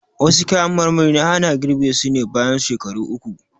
Wasu kayan marmari ana girɓe su ne bayan shekaru uku.